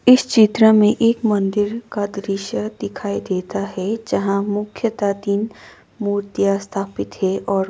इस चित्र में एक मंदिर का दृश्य दिखाई देता है जहां मुख्यतः तीन मूर्तियां स्थापित है और--